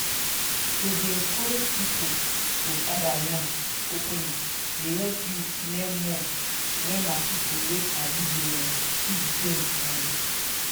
to dey encourage people to gather yarn openly dey help youth learn more wen na people wey sabi dey um teach them um